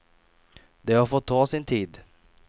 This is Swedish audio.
Det har fått ta sin tid.